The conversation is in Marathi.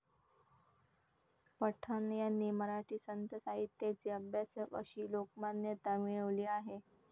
पठाण यांनी मराठी संतसाहित्याचे अभ्यासक अशी लोकमान्यता मिळवली आहे.